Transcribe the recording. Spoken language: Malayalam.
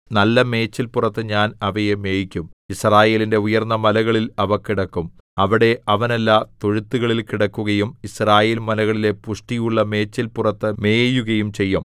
നല്ല മേച്ചിൽപുറത്തു ഞാൻ അവയെ മേയിക്കും യിസ്രായേലിന്റെ ഉയർന്ന മലകളിൽ അവ കിടക്കും അവിടെ അവനല്ല തൊഴുത്തുകളിൽ കിടക്കുകയും യിസ്രായേൽമലകളിലെ പുഷ്ടിയുള്ള മേച്ചിൽപുറത്തു മേയുകയും ചെയ്യും